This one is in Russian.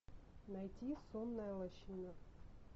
найти сонная лощина